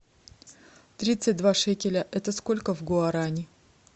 тридцать два шекеля это сколько в гуарани